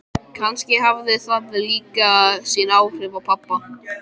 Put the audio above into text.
Kannski hafði það líka sín áhrif á pabba.